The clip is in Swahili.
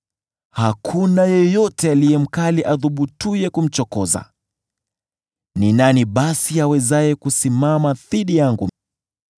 Hakuna yeyote aliye mkali athubutuye kumchokoza. Ni nani basi awezaye kusimama dhidi yangu?